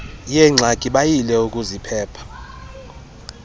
yeengxaki bayile ukuziphepha